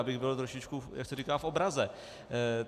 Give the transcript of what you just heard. Abych byl trošičku, jak se říká, v obraze.